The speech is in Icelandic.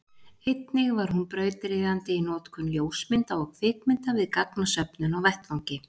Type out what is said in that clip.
einnig var hún brautryðjandi í notkun ljósmynda og kvikmynda við gagnasöfnun á vettvangi